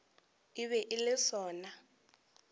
e be e le sona